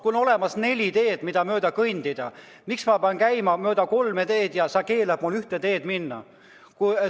Kui on olemas neli teed, mida mööda kõndida, miks ma pean käima mööda kolme teed ja sa keelad mul ühte teed minna?